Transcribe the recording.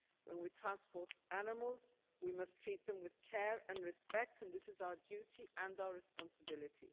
When we transport animals, we must treat them with care and respect, and this is our duty and our responsibility.